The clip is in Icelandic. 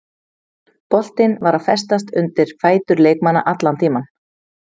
Boltinn var að festast undir fætur leikmanna allan tímann.